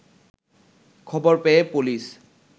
খবর পেয়ে পুলিশ